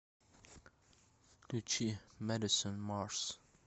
включи мэдисон марс